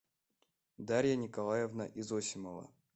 дарья николаевна изосимова